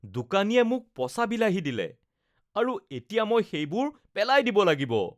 দোকানীয়ে মোক পচা বিলাহী দিলে আৰু এতিয়া মই সেইবোৰ পেলাই দিব লাগিব।